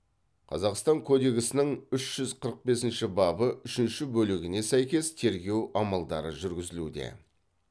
қазақстан кодексінің үш жүз қырық бесінші бабы үшінші бөлігіне сәйкес тергеу амалдары жүргізілуде